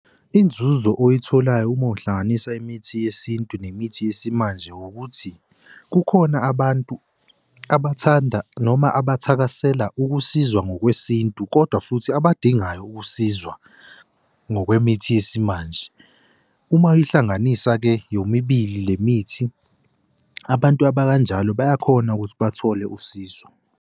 Inzuzo oyitholayo uma uhlanganisa imithi yesintu nemithi yesimanje wukuthi kukhona abantu abathanda noma abathakasela ukusizwa ngokwesintu kodwa futhi abadingayo ukusizwa ngokwemithi yesimanje. Uma uyihlanganisa-ke yomibili le mithi abantu abakanjalo bayakhona ukuthi bathole usizo.